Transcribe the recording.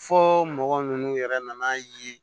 Fo mɔgɔ ninnu yɛrɛ nana ye